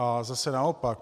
A zase naopak.